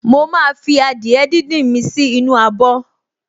Mo máa fi adìẹ díndín mi sì inú abọ̀